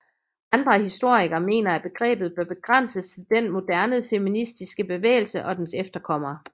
Andre historikere mener at begrebet bør begrænses til den moderne feministiske bevægelse og dens efterkommere